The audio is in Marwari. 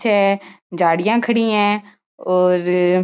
छे झाडिया खड़ी है और --